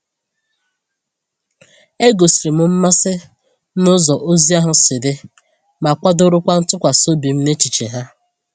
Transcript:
E gosiri m mmasị n’ụzọ ozi ahụ si dị, ma kwudorokwa ntụkwasị obi m n’echiche ha.